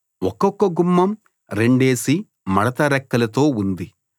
ఒక్కొక గుమ్మం రెండేసి మడత రెక్కలతో ఉంది